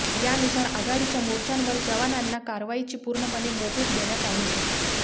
यानुसार आघाडीच्या मोर्चांवर जवानांना कारवाईची पूर्णपणे मोकळीक देण्यात आलीय